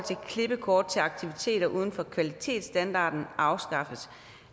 klippekort til aktiviteter uden for kvalitetsstandarden afskaffes